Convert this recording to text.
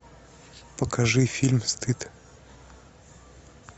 покажи фильм стыд